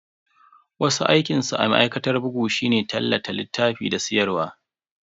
Wasu aikinsu a ma'aikatar bugu shine tallata littafi da siyarwa.